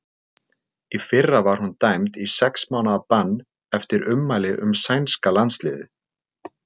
Í fyrra var hún dæmd í sex mánaða bann eftir ummæli um sænska landsliðið.